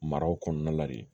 Maraw kɔnɔna la de